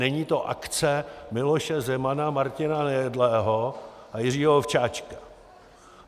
Není to akce Miloše Zemana, Martina Nejedlého a Jiřího Ovčáčka.